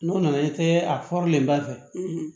N'o nana i tɛ a ba fɛ